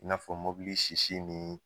I n'a fɔ mobili sisi nin